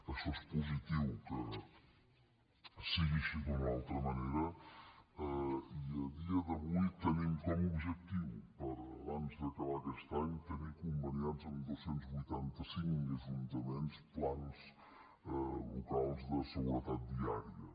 això és positiu que sigui així i no d’una altra manera i a dia d’avui tenim com a objectiu per abans d’acabar aquest any tenir conveniats amb dos cents i vuitanta cinc ajuntaments plans locals de seguretat viària